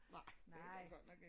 Nej det er der godt nok ikke